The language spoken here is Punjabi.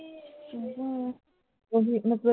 ਉਹ heat ਮਤਲਬ